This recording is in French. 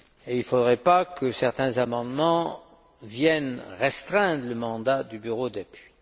Il ne faudrait pas que certains amendements viennent restreindre le mandat du bureau d'appui.